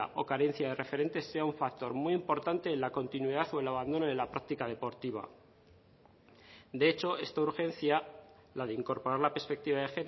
o carencia de referentes sea un factor muy importante en la continuidad o el abandono de la práctica deportiva de hecho esta urgencia la de incorporar la perspectiva de